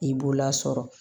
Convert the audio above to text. I b'o lasɔrɔ